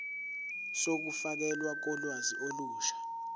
zokufakelwa kolwazi olusha